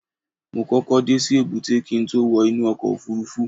mo kókó dé sí èbúté kí n tó wọ inú ọkọ̀ òfurufú